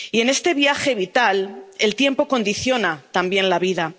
Y, en este viaje vital, el tiempo condiciona también la vida.